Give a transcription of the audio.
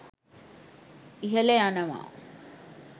ඉහල යනවා.